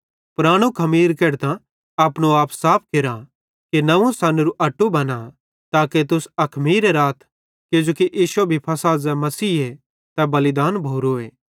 परानू खमीर केढतां अपनो आप साफ केरा कि नंव्वू सनोरू अट्टू बना ताके तुस अखमीरे राथ किजोकि इश्शो भी फ़सह ज़ै मसीहे तै बलिदान भोरोए